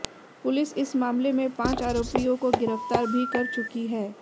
police इस मामले में पांच आरोपियों को गिरफ्तार भी कर चुकी है